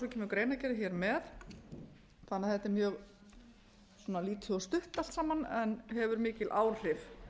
greinargerðin hér með þannig að þetta er mjög lítið og stutt allt saman en hefur mikil áhrif